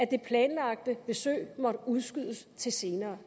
det planlagte besøg måtte udskydes til senere